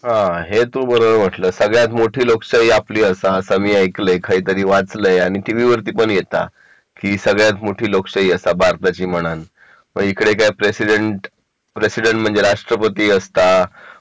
हा आहे तू बरोबर म्हणलं सगळ्यात मोठी लोकशाही आपली असा असं ऐकलंय काहीतरी वाचले आणि टीव्ही वरती पण येता की सगळ्यात मोठी लोकशाही असा भारताची म्हणन मग इकडे काय प्रेसिडेंट प्रेसिडेंट म्हणजे राष्ट्रपती असता